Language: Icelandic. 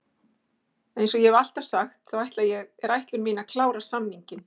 Eins og ég hef alltaf sagt, þá er það ætlun mín að klára samninginn.